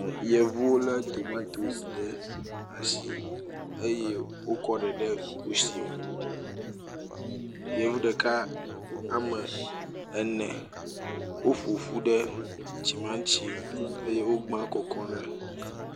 Yevu lé tomatosi ɖe ashi eye wokɔ ɖe ɖe kushi me. Yevu ɖeka ame ene woƒo ƒu ɖe tsimatsi ŋu eye wogbam kɔkɔm ɖe.